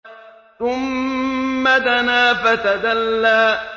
ثُمَّ دَنَا فَتَدَلَّىٰ